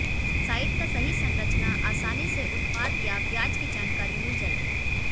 site का सही संरचना आसानी से उत्पाद या ब्याज की जानकारी मिल जाएगी